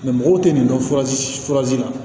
mɔgɔw tɛ nin dɔn la